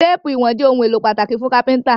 Téèpù ìwọ̀n jé òun èló pàtàkì fún kápẹ́ńtà